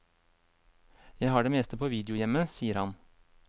Jeg har det meste på video hjemme, sier han.